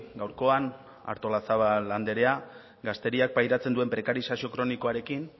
gaurkoan artolazabal andrea gazteriak pairatzen duen prekarizazio kronikoarekin